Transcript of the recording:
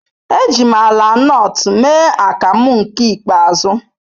Eji m ala nut mee akamu nke ikpeazu.